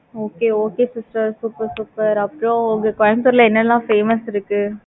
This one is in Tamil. okay okay sister super super. அப்புறம், இங்க கோயம்புத்தூர்ல, என்னெல்லாம் famous இருக்கு?